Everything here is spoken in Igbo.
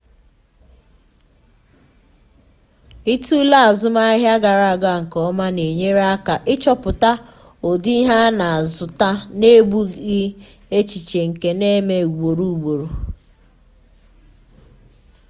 ịtụle azụmahịa gara aga nke ọma na-enyere aka ịchọpụta ụdị ihe a na-azụta n’ebughị echiche nke na-eme ugboro ugboro.